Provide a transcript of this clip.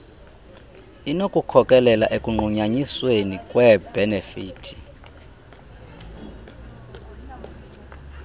inokukhokelela ekunqunyanyisweni kweebhenefithi